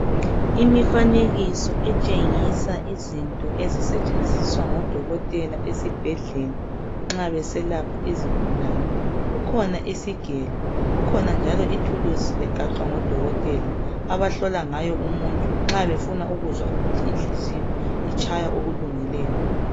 Imifanekiso etshengisa izinto ezisetshenziswa ngodokotela esibhedlela nxa beselapha izigulane kukhona isigelo kukhona njalo ithuluzi egaxwa ngodokotela abahlola ngayo umuntu nxa befuna ukuzwa ukuthi inhliziyo itshaya okulungileyo.